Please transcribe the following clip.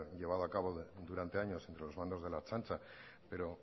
llevado a cabo durante años entre los mandos de la ertzaintza pero